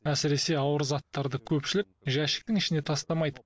әсіресе ауыр заттарды көпшілік жәшіктің ішіне тастамайды